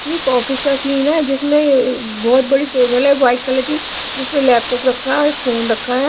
ये एक ऑफिस का सीन है जिसमे बहोत बड़ी टेबल है वाइट कलर की जिसपे लैपटॉप रखा है एक फोन रखा है।